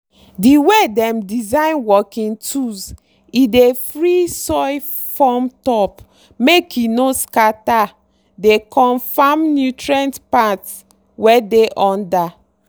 the way dem design working tools e dey free soil form top make e no scatter dey comfirm nutrient part wey dey under.